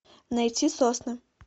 найти сосны